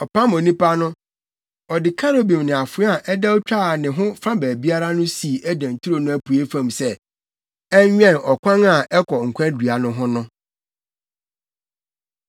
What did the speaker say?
Ɔpam onipa no, ɔde Kerubim ne afoa a ɛdɛw twaa ne ho fa baabiara no sii Eden turo no apuei fam sɛ ɛnwɛn ɔkwan a ɛkɔ nkwa dua no ho no.